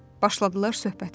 Başladılar söhbətə.